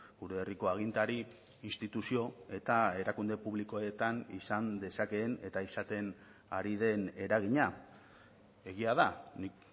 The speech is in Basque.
gure herriko agintari instituzio eta erakunde publikoetan izan dezakeen eta izaten ari den eragina egia da nik